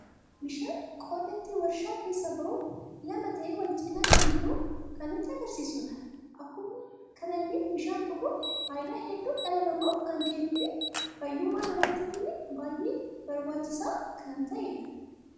Bishaan qodaa itti warshaa keessa ba'uun lama ta'e wal cina kan jiru kan nutti agarsiisuudha. Akkuma kanallee bishan dhuguun faayida hedduu dhala namaaf kan kennu fi faayyumma namatiifille baay'ee barbaachiisa kan ta'edha.